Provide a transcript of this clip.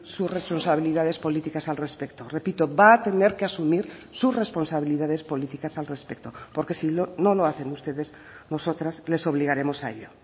sus responsabilidades políticas al respecto repito va a tener que asumir sus responsabilidades políticas al respecto porque si no lo hacen ustedes nosotras les obligaremos a ello